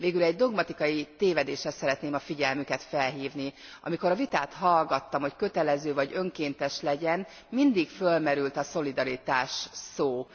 Végül egy dogmatikai tévedésre szeretném a figyelmüket felhívni amikor a vitát hallgattam, hogy kötelező vagy önkéntes legyen, mindig fölmerült a szolidaritás szó.